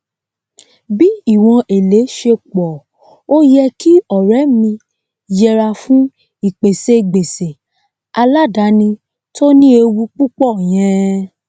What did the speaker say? bí ìwòn èlé se pọ o yẹ kí ọrẹ mí yẹra fún ìpèsè gbèsè alàdáni tó ní ewu púpọ yẹn